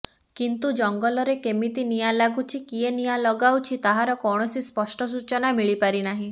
କିନ୍ତୁ ଜଙ୍ଗଲରେ କେମିତ ନିଆଁ ଲାଗୁଛି କିଏ ନିଆଁ ଲାଗାଉଛି ତାହାର କୌଣସି ସ୍ପଷ୍ଟ ସୂଚନା ମିଳିପାରିନାହିଁ